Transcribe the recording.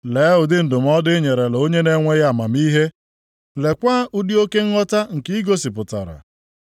Lee ụdị ndụmọdụ i nyerela onye na-enweghị amamihe! Leekwa ụdị oke nghọta nke ị gosipụtara.